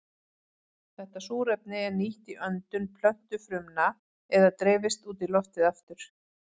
Þetta súrefni er nýtt í öndun plöntufrumna eða dreifist út í loftið aftur.